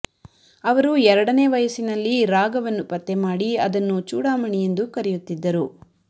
ಅವರು ಎರಡನೇ ವಯಸ್ಸಿನಲ್ಲಿ ರಾಗವನ್ನ್ನುಪತ್ತೆ ಮಾಡಿ ಅದನ್ನು ಚೂಡಮಣಿ ಎಂದು ಕರೆಯುತ್ತಿದ್ದರು